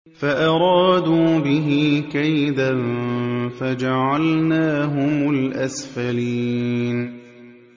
فَأَرَادُوا بِهِ كَيْدًا فَجَعَلْنَاهُمُ الْأَسْفَلِينَ